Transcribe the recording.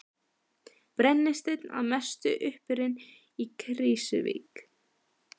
Brennisteinn að mestu uppurinn í Krýsuvík.